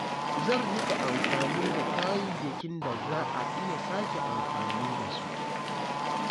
Zan riƙa amfani da kayayyakin da za a iya sake amfani da su.